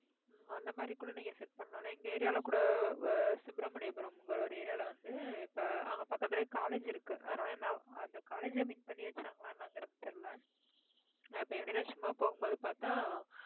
ஹம் அந்த மாதிரி கூட நீங்க set பண்ணலாம். எங்க area ல கூட ஆஹ் சுப்ரமணியபுரம்ங்கிற ஒரு area ல வந்து, இப்ப அவங்க பக்கத்திலேயே college இருக்கு. அதனால என்ன ~அந்த college அ mean பண்ணி வச்சாங்களா என்னங்கறது தெரியலே நான் இப்ப இடையில சும்மா போகும்போது பார்த்தா